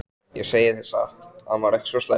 Ég segi þér satt- hann var ekki svo slæmur.